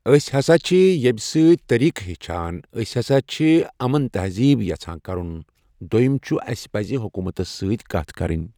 أسۍ ہسا چھِ ییمہِ سۭتۍ طٔریٖق ہیٚچھان أسۍ ہسا چھِ امن تہزیب یژھان کرُن۔ دوٚیم چھُ اسہِ پزِ حکومتس ستۭۍ کتھ کرٕنۍ